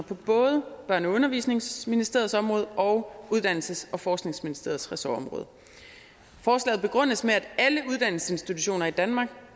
på både børne og undervisningsministeriets område og uddannelses og forskningsministeriets ressortområde forslaget begrundes med at alle uddannelsesinstitutioner i danmark